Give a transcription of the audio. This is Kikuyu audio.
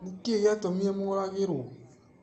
Nĩ kĩĩ gĩatũmire Mooragirũo?